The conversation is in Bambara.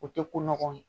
O tɛ ko nɔgɔ ye